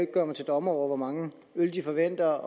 gøre mig til dommer over hvor mange øl de forventer